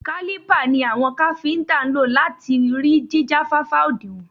Kálípà ni àwọn káfíntà ń lò láti rí jíjáfáfá òdinwọ̀n.